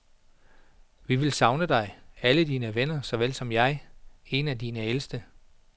Vi vil savne dig, alle dine venner såvel som jeg, en af dine ældste.